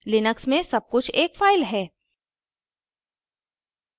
Linux में सबकुछ एक file है